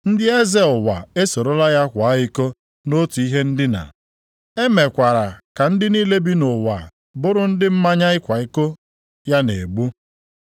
Ndị eze ụwa esorola ya kwaa iko nʼotu ihe ndina, emeekwara ka ndị niile bi nʼụwa bụrụ ndị mmanya ịkwa iko ya na-egbu.”